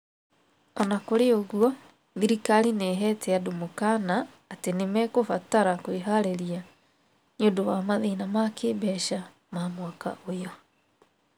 O na kũrĩ ũguo, thirikari nĩ ĩheete andũ mũkaana atĩ nĩ mekũbatara kwĩharĩria nĩ ũndũ wa mathĩna ma kĩĩmbeca ma mwaka ũyũ.